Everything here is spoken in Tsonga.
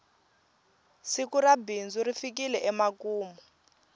siku ra bindzu ri fikile emakumu